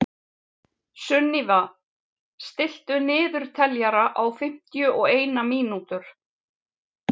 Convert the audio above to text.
Sunníva, stilltu niðurteljara á fimmtíu og eina mínútur.